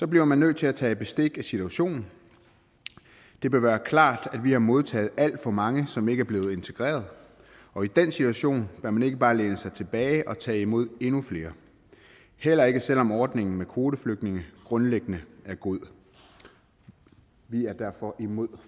bliver man nødt til at tage bestik af situationen det vil være klart at vi har modtaget alt for mange som ikke er blevet integreret og i den situation bør man ikke bare læne sig tilbage og tage imod endnu flere heller ikke selv om ordningen med kvoteflygtninge grundlæggende er god vi er derfor imod